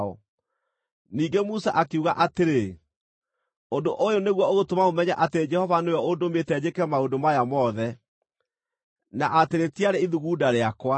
Ningĩ Musa akiuga atĩrĩ, “Ũndũ ũyũ nĩguo ũgũtũma mũmenye atĩ Jehova nĩwe ũndũmĩte njĩke maũndũ maya mothe, na atĩ rĩtiarĩ ithugunda rĩakwa: